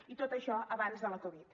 i tot això abans de la covid